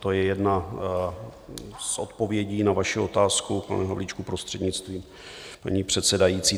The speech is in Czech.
To je jedna z odpovědí na vaši otázku, pane Havlíčku, prostřednictvím paní předsedající.